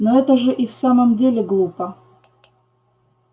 но это же и в самом деле глупо